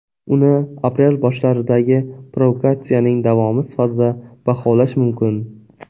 Uni aprel boshlaridagi provokatsiyaning davomi sifatida baholash mumkin.